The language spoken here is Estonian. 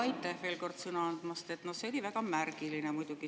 Aitäh veel kord sõna andmast!